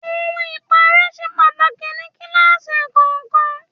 Ohun ipare ṣe pàtàkì ní kíláàsì kọ̀ọ̀kan.